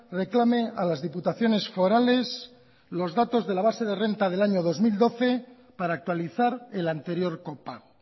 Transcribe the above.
reclame a las diputaciones forales los datos de la base de renta del año dos mil doce para actualizar el anterior copago